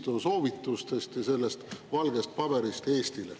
Niinistö soovitustest ja sellest valgest paberist?